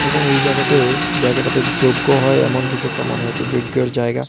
এবং ওই জায়গাটায়ে জায়গাটাতে যজ্ঞ হয় এমন কিছু একটা মনে হচ্ছে যজ্ঞের জায়গা।